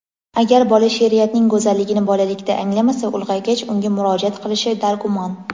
Agar bola sheʼriyatning go‘zalligini bolalikda anglamasa, ulg‘aygach unga murojaat qilishi dargumon.